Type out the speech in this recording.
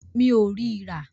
Mi ò rí rà.